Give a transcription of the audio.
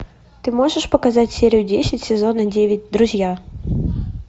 ты можешь показать серию десять сезона девять друзья